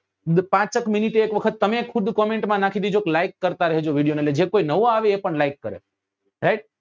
પાંચ એક minute એ તમે ખુદ comment માં નાખી દેજો કે like કરતા રહેજો video ને એટલે જે કોઈ નવો આવે એ પણ like કરે right